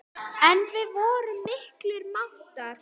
En við vorum miklir mátar.